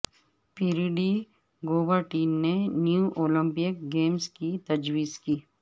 پیری de Coubertin نے new Olympic games کی تجویز کی